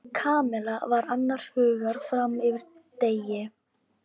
Kamilla var annars hugar fram eftir degi.